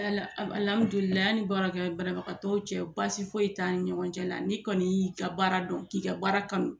an ni baara kɛ banabagatɔw cɛ baasi foyi t'an ni ɲɔgɔn cɛ la n'i kɔni y'i ka baara dɔn k'i ka baara kanu